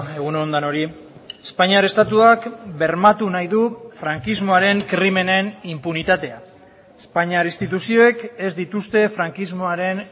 egun on denoi espainiar estatuak bermatu nahi du frankismoaren krimenen inpunitatea espainiar instituzioek ez dituzte frankismoaren